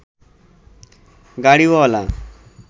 Gariwala